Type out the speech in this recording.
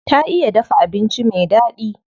Ta iya dafa abinci me daɗi.